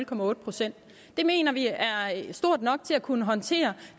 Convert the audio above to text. på nul procent det mener vi er stort nok til at kunne håndtere